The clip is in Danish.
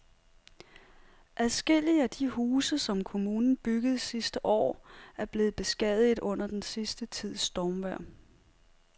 Adskillige af de huse, som kommunen byggede sidste år, er blevet beskadiget under den sidste tids stormvejr.